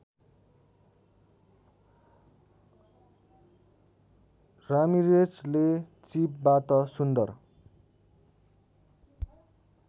रामिरेजले चिपबाट सुन्दर